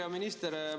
Hea minister!